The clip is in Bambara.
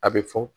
A bɛ fɔ